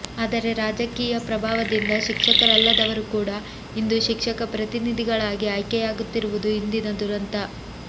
ಆದರೆ ರಾಜಕೀಯ ಪ್ರಭಾವದಿಂದ ಶಿಕ್ಷಕರಲ್ಲದವರು ಕೂಡಾ ಇಂದು ಶಿಕ್ಷಕ ಪ್ರತಿನಿಧಿಗಳಾಗಿ ಆಯ್ಕೆಯಾಗುತ್ತಿರುವುದು ಇಂದಿನ ದುರಂತ